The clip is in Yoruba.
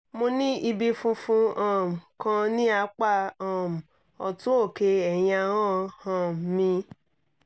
mo ní ibi funfun um kan ní apá um ọ̀tún òkè ẹ̀yìn ahọ́n um mi